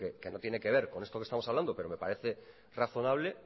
que no tiene que ver con esto que estamos hablando pero me parece razonable